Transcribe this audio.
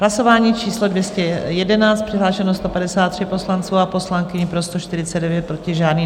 Hlasování číslo 211, přihlášeno 153 poslanců a poslankyň, pro 149, proti žádný.